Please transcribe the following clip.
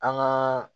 An gaa